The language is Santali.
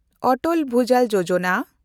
ᱚᱴᱚᱞ ᱵᱷᱩᱡᱟᱞ ᱡᱳᱡᱚᱱᱟ